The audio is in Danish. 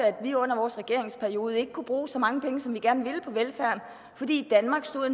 at vi under vores regeringsperiode ikke kunne bruge så mange penge som vi gerne ville på velfærd fordi danmark stod